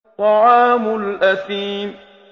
طَعَامُ الْأَثِيمِ